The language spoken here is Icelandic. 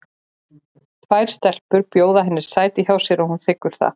Tvær stelpur bjóða henni sæti hjá sér og hún þiggur það.